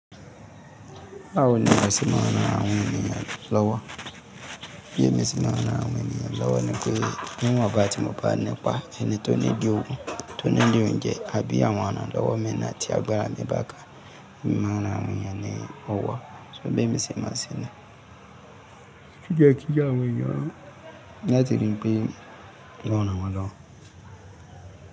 Bawo ni a se máa ran àwọn ènìyàn lọ́wọ́. Bí èmi ṣe máa n ran àwọn ènìyàn lọ́wọ́ ni pé níwonba tí mo bá nípàá, ẹni tó need òwo, tó need òunjẹ tàbí àwọn iranlọ́wọ́ mi naa ti agbára mi báka, máa ran àwọn ènìyàn ní ọwọ́. So bí èmi ṣe máa ṣẹ́ ni. Kí jẹ́ kí jẹ́ àwọn ènìyàn. Lá tí rí pé lọ́wọ́ nawọ́ lọ́wọ́